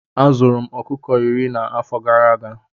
Azụrụ m ọkụkọ iri na afọ gara aga